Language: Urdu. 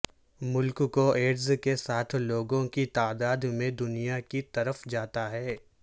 ملک کو ایڈز کے ساتھ لوگوں کی تعداد میں دنیا کی طرف جاتا ہے